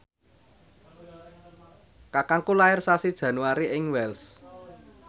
kakangku lair sasi Januari ing Wells